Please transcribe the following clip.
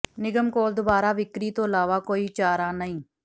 ਨਿਗਮ ਕੋਲ ਦੁਬਾਰਾ ਵਿਕਰੀ ਤੋਂ ਇਲਾਵਾ ਕੋਈ ਚਾਰਾ ਨਹੀਂ